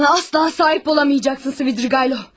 Mənə asla sahib ola bilməyəcəksən, Svidriqaylov.